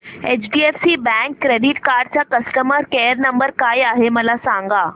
HDFC bank credit card चा customer care number काय आहे मला सांगा